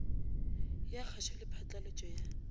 ya kgašo le phatlalatšo ya